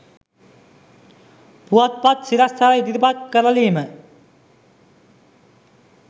පුවත්පත් සිරස්තල ඉදිරිපත් කරලීම